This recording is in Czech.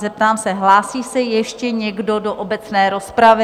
Zeptám se, hlásí se ještě někdo do obecné rozpravy?